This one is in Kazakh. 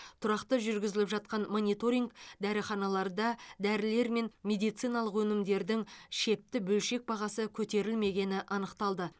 тұрақты жүргізіліп жатқан мониторинг дәріханаларда дәрілер мен медициналық өнімдердің шепті бөлшек бағасы көтерілмегені анықталды